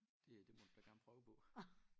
Det det må du da gerne prøve på